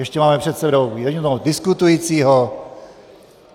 Ještě máme před sebou jediného diskutujícího.